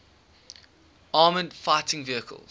armored fighting vehicles